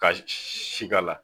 Ka si k'a la